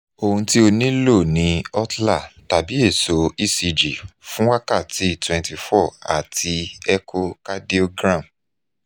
ohun ti o nilo ni holter tabi eso ecg fun wakati 24 ati echo cardiogram